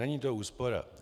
Není to úspora.